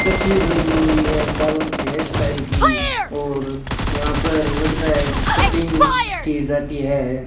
तस्वीर लगी हुई है बालों की हेयर स्टाइल की और यहां पर लगता है कि कटिंग की जाती है।